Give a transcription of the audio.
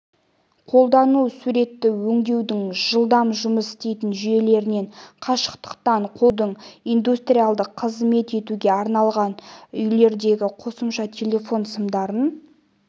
қолдану суретті өңдеудің жылдам жұмыс істейтін жүйелерінен қашықтықтан қол жеткізудің индустриялды қызмет етуге арналған үйлердегі қосымша телефон сымдарынан